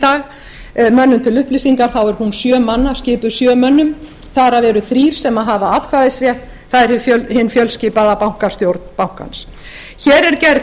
dag manna til upplýsingar er hún skipuð sjö mönnum þar af eru þrír sem hafa atkvæðisrétt það er hin fjölskipaða bankastjórn bankans hér er gerð